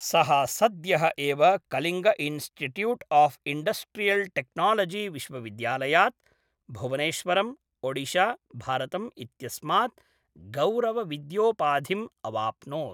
सः सद्यः एव Kalinga institute of industrial technology विश्वविद्यालयात्, भुवनेश्वरम्, ओडिशा, भारतम् इत्यस्मात् गौरवविद्योपाधिम् अवाप्नोत्।